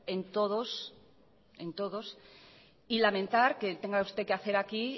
y lamentar que tenga que hacer usted aquí